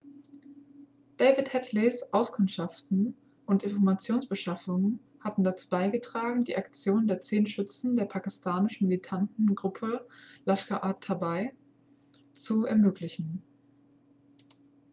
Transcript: david headleys auskundschaften und informationsbeschaffung hatten dazu beigetragen die aktion der 10 schützen der pakistanischen militanten gruppe laskhar-e-taiba zu ermöglichen